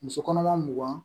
Muso kɔnɔma mugan